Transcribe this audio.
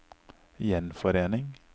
gjenforening